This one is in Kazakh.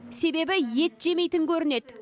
себебі ет жемейтін көрінеді